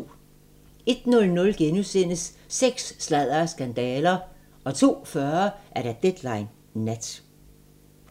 01:00: Sex, sladder og skandaler * 02:40: Deadline Nat